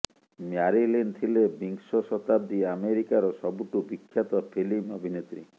Marilyn ଥିଲେ ବିଂଶ ଶତାବ୍ଦୀ ଆମେରିକାର ସବୁଠୁ ବିଖ୍ୟାତ ଫିଲ୍ମ ଅଭିନେତ୍ରୀ